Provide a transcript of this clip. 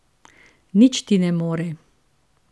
Nič ti ne more.